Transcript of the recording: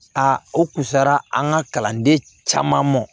A o kun sera an ka kalanden caman ma